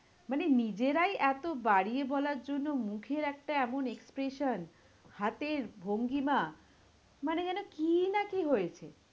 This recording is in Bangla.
মানে নিজেরাই এতো বাড়িয়ে বলার জন্য মুখের একটা এমন expression, হাতের ভঙ্গিমা মানে যেন কি না কি হয়েছে?